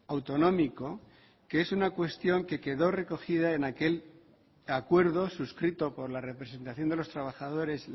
autonómico que es una cuestión que quedó recogida en aquel acuerdo suscrito por la representación de los trabajadores